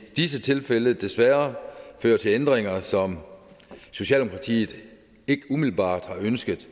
disse tilfælde desværre fører til ændringer som socialdemokratiet ikke umiddelbart har ønsket